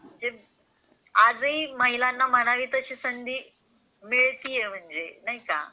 आजही महिलांना म्हणावी तशी संधी मिळती आहे म्हणजे.